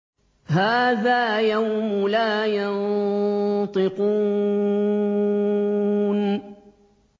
هَٰذَا يَوْمُ لَا يَنطِقُونَ